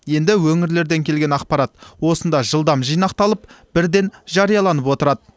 енді өңірлерден келген ақпарат осында жылдам жинақталып бірден жарияланып отырады